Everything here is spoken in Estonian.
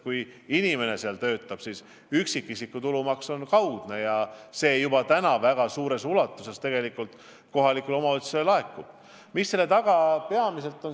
Kui inimene seal töötab, siis üksikisiku tulumaks on kaudne ja see laekub juba praegugi väga suures ulatuses kohalikule omavalitsusele.